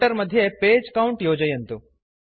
footer मध्ये page count योजयन्तु